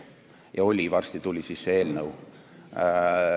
Ja oli – varsti tuli see eelnõu.